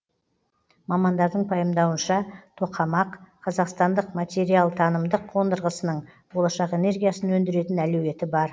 мамандардың пайымдауынша тоқамақ қазақстандық материалтанымдық қондырғысының болашақ энергиясын өндіретін әлеуеті бар